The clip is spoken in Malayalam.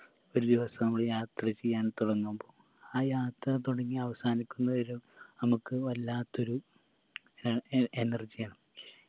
ഒരു ദിവസം മ്മള് യാത്ര ചെയ്യാൻ തൊടങ്ങുമ്പോ ആ യാത്ര തൊടങ്ങി അവസാനിക്കുന്നവരെ നമക്ക് വല്ലാത്തൊരു ഏർ energy ആണ്